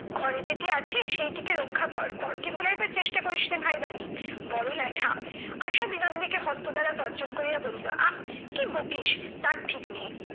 ঘরে যেটি আছে সেইটিকে রক্ষা কর, পরকে ভুলাইবার চেষ্টা করিসনা ভাই বালি। বড় ল্যাঠা। আশা বিনোদিনীকে হস্ত দ্বারা তর্জন করিয়া বলিল, আহ কি বকিস তার ঠিক নেই।